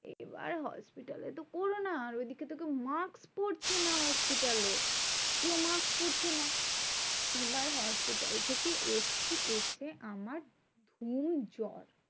এবার hospital এ তো corona আর ওইদিকেতো কেউ mask পড়ছে না hospital এ। কেউ mask পড়ছে না। এবার hospital থেকে এসেছি এসে আমার গুম জ্বর।